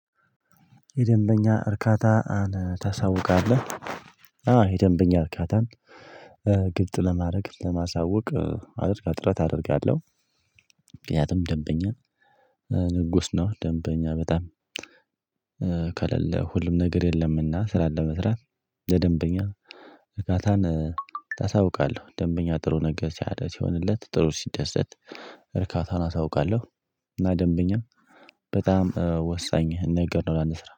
የደንበኛ እርካታ ታሳውቃለህ? አዎ የደንበኛ እርካታን ግልጥ ለማድረግ ለማሳወቅ አድርጋ ጥረት አደርጋለሁ። ምክንያቱም ደንበኛን ንጉስ ነው። ደንበኛ በጣም ከሌለ ሁሉም ነገር የለም። እና ስራን ለመስራት ለደንበኛ እርካታን ታሳውቃለህ። ደንበኛ ጥሩ ነገር ሲያደርስ ሲሆንለት ጥሩ ሲደሰት እርካታን አሳውቃለሁ። እና ደንበኛ በጣም ወሳኝ ነገር ነው ለአንድ ስራ።